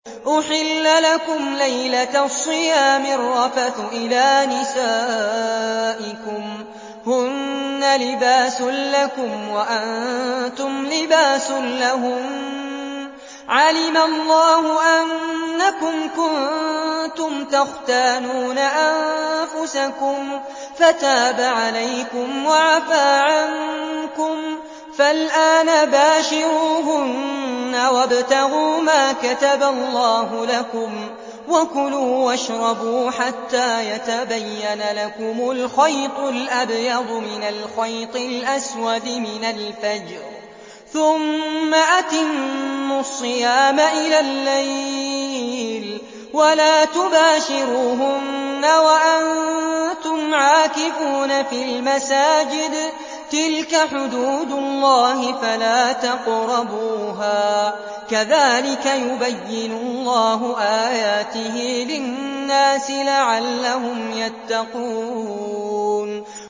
أُحِلَّ لَكُمْ لَيْلَةَ الصِّيَامِ الرَّفَثُ إِلَىٰ نِسَائِكُمْ ۚ هُنَّ لِبَاسٌ لَّكُمْ وَأَنتُمْ لِبَاسٌ لَّهُنَّ ۗ عَلِمَ اللَّهُ أَنَّكُمْ كُنتُمْ تَخْتَانُونَ أَنفُسَكُمْ فَتَابَ عَلَيْكُمْ وَعَفَا عَنكُمْ ۖ فَالْآنَ بَاشِرُوهُنَّ وَابْتَغُوا مَا كَتَبَ اللَّهُ لَكُمْ ۚ وَكُلُوا وَاشْرَبُوا حَتَّىٰ يَتَبَيَّنَ لَكُمُ الْخَيْطُ الْأَبْيَضُ مِنَ الْخَيْطِ الْأَسْوَدِ مِنَ الْفَجْرِ ۖ ثُمَّ أَتِمُّوا الصِّيَامَ إِلَى اللَّيْلِ ۚ وَلَا تُبَاشِرُوهُنَّ وَأَنتُمْ عَاكِفُونَ فِي الْمَسَاجِدِ ۗ تِلْكَ حُدُودُ اللَّهِ فَلَا تَقْرَبُوهَا ۗ كَذَٰلِكَ يُبَيِّنُ اللَّهُ آيَاتِهِ لِلنَّاسِ لَعَلَّهُمْ يَتَّقُونَ